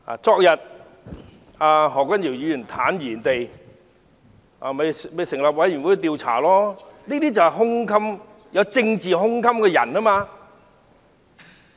昨天，何君堯議員坦然地表示，可成立委員會調查他，這就是有政治胸襟了。